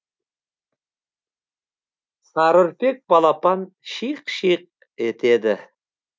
сары үрпек балапан шиқ шиқ етеді